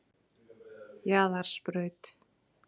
Jaðarsbraut